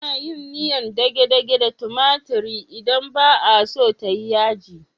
Ana yin miyar dage-dage da tumatiri idan ba a so ta yi yaji.